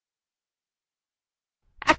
এই commandtry ব্যবহার করে দেখা যাক